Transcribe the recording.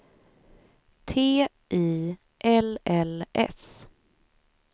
T I L L S